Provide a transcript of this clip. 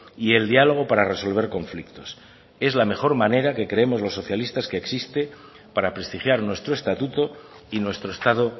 y el diálogo para resolver conflictos es la mejor manera que creemos los socialistas que existe para prestigiar nuestro estatuto y nuestro estado